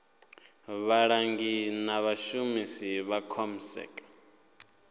vhalangi na vhashumi vha comsec